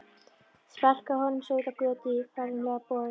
Sparkaði honum svo út á götu í fagurlegum boga.